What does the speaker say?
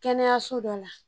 Kɛnɛyaso dɔ la.